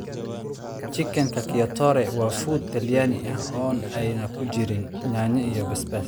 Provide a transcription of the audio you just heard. Chicken cacciatore waa fuud Talyaani ah oo ay ku jiraan yaanyo iyo basbaas.